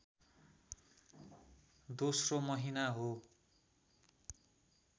दोस्रो महिना हो